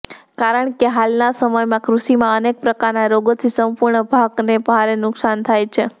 કારણ કે હાલના સમયમાં કૃષિમાં અનેક પ્રકારના રોગોથી સંપૂર્ણ પાકને ભારે નુકસાન થાય છે